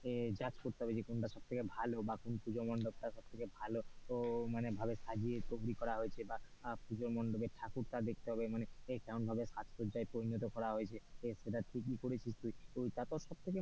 এ judge করতে হবে যে কোনটা সব থেকে ভালো বা কোন পুজো মণ্ডপ তা সব থেকে ভালো ও মানে সাজিয়ে তৈরী করা হয়েছে, বা পুজো মণ্ডপের ঠাকুরটা দেখতে হবে এ মানে কেমন ভাবে সাজসজ্জাই পরিণত করা হয়েছে এ সেটা ঠিকই করেছিস তুই,